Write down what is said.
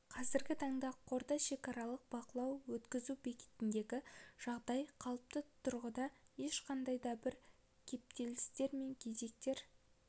қазіргі таңда қордай шекаралық бақылау өткізу бекетіндегі жағдай қалыпты тұрғыда ешқандай да бір кептелістер мен кезектер